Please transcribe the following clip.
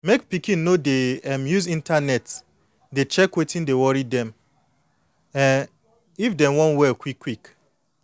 mek pikin no dey um use internet to dey check wetin dey worry dem um if dem wan well quick quick.